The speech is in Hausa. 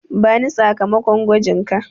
Bani sakamakon gwajinka.